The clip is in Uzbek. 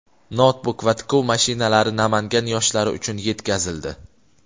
noutbuk va tikuv mashinalari Namangan yoshlari uchun yetkazildi.